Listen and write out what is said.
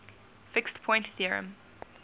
fixed point theorem